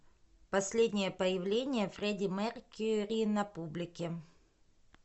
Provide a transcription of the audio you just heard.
последнее появление фредди меркьюри на публике